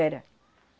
Era.